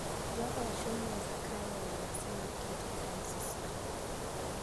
Joho ochunig' ni e Zakayo e niyasi mar keto ekom ker Sosionii